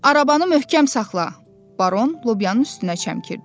Arabanı möhkəm saxla, Baron Lobyanın üstünə çəmkirdi.